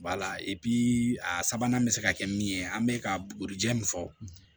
a sabanan bɛ se ka kɛ min ye an bɛ ka bugurijɛ min fɔ